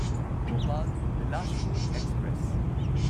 Bhopal Bilaspur express